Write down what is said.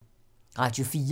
Radio 4